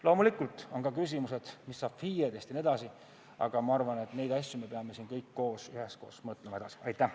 Loomulikult on ka küsimused, mis saab FIE-dest jne, aga ma arvan, et neid asju me peame siin kõik koos üheskoos edasi mõtlema.